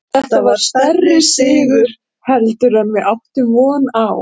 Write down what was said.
Þetta var stærri sigur heldur en við áttum von á.